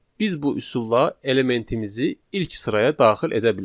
Biz bu üsulla elementimizi ilk sıraya daxil edə bilərik.